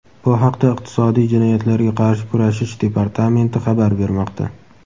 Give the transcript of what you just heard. Bu haqda Iqtisodiy jinoyatlarga qarshi kurashish departamenti xabar bermoqda.